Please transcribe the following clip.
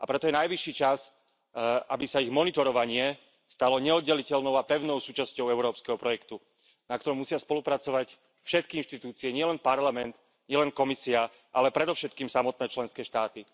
A preto je najvyšší čas, aby sa ich monitorovanie stalo neoddeliteľnou a pevnou súčasťou európskeho projektu, na ktorom musia spolupracovať všetky inštitúcie, nielen Parlament, nielen Komisia, ale predovšetkým samotné členské štáty.